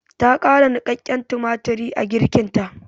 Ta ƙara niƙaƙƙen tumatiri a girkinta.